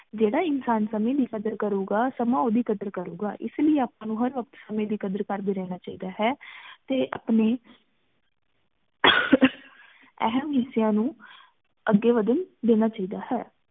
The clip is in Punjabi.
ਜੇੜਾ ਇਨਸਾਨ ਸੰਮੇ ਦੀ ਕਦਰ ਕਰੂਗਾ ਸਮਾਂ ਓਹਦੀ ਕਦਰ ਕਰੂਗਾ ਏਸ ਲਈ ਆਪਾਂ ਨੂ ਹਰ ਵਕ਼ਤ ਸੰਮੇ ਦੀ ਕਦਰ ਕਰਦੇ ਰਹਨਾ ਚਾਹੀਦਾ ਹੈ ਤੇ ਅਪਨੇ ਅਹਮ ਹਿੱਸੇਆਂ ਨੂੰ ਅਗੇ ਵਧਣ ਦੇਣਾ ਚਾਹੀਦਾ ਹੈ